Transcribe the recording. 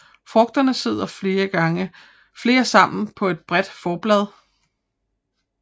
Frugterne sidder flere sammen på et bredt forblad